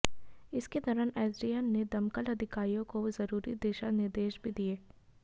इस दौरान एसडीएम ने दमकल अधिकारियों को जरूरी दिशा निर्देश भी दिए